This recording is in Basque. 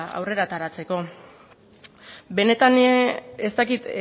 aurrera ateratzeko benetan ez dakit